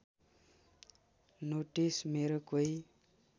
notice मेरो कोही